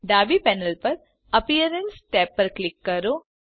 ડાબી પેનલ પર appearance tab પર ક્લિક કરો